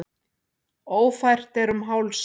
Ófært er um Hálsa